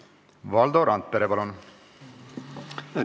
Valdo Randpere, palun!